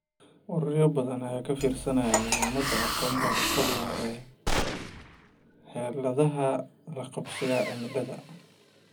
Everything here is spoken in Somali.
Ururo badan ayaa ka fiirsanaya muhiimada aqoonta asaliga ah ee xeeladaha la qabsiga cimilada.